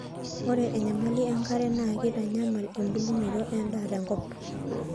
ore enyamali enkare naa keitanyamal embulunoto endaa tenkop